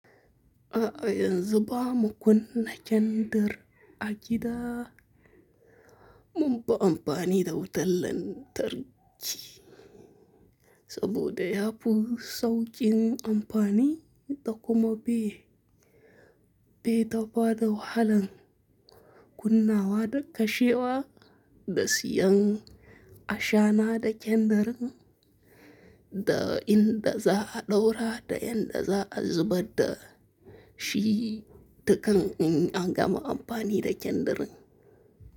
A'a, yanzu ba mu kunna kyandir a gida. Mun fi amfani da wutan lantarki saboda ya fi saukin amfani, da kuma bi bai da bada wahalan kunnawa da kashewa da siyan ashana da kyandir, da inda za a ɗaura da yanda za a zubar da shi, da kan in an gama amfani da kyandir.